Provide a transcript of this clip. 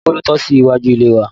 Tambóló tò sí iwájú ilé wa